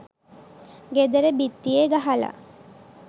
ගෙදර බිත්තියේ ගහලා